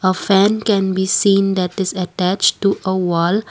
a fan can be seen that is attached to a wall.